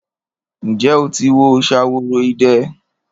Ǹjẹ́ o ti wo Ṣaworoide?